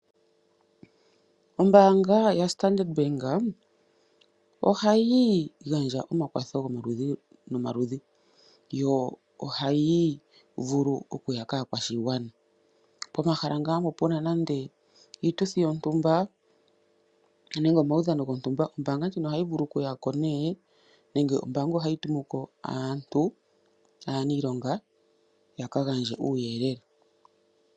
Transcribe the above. Ombanga yoStandardbank ohayi gandja omakwatho gomaludhi nomaludhi yo ohayi vulu okuya kakwashigwana pomahala nga mpo puna nande iituthi yontumba nenge omaudhano gontumba. Ombanga ndjino ohayi vulu okuya ko ne nenge ombanga yitumeko aanilonga yaka gandje uuyelele.